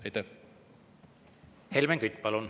Helmen Kütt, palun!